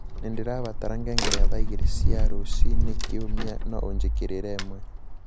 nīndīrabatara ngengere ya thaa igīri cia rūciine kiūmia no ūjīkīrīre īmwe